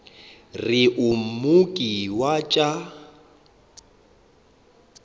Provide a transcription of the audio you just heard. re o mooki wa tša